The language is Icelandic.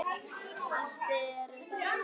Allt eru þetta konur.